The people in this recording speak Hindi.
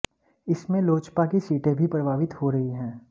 इसमें लोजपा की सीटें भी प्रभावित हो रही है